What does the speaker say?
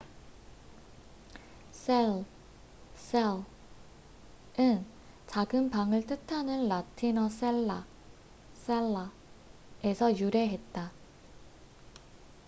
셀cell은 작은 방을 뜻하는 라틴어 셀라cella에서 유래했다